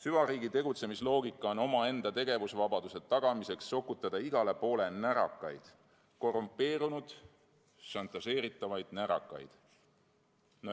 Süvariigi tegutsemisloogika on omaenda tegevusvabaduse tagamiseks sokutada igale poole närakaid, korrumpeerunud, šantažeeritavaid närakaid.